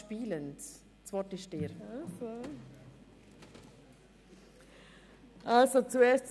Ich denke aber, sie schafft es spielend.